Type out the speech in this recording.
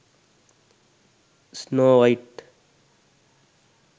snow white